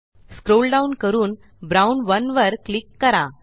scroll down करून brown 1 वर click करा